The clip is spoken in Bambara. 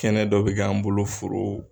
Kɛnɛ dɔ bi k'an bolo foro.